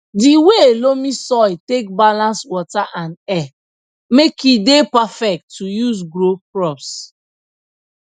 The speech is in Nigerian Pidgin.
di way loamy soil take balance water and air make e dey perfect to use grow crops